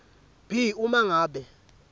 b uma ngabe